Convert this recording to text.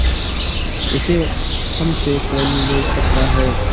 उसे हमसे कौन ले सकता है